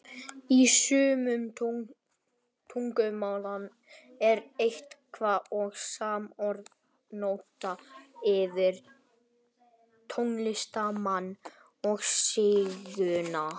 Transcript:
Í sumum tungumálum er eitt og sama orðið notað yfir tónlistarmann og sígauna.